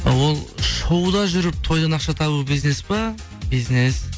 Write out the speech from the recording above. ы ол шоуда жүріп тойдан ақша табу бизнес па бизнес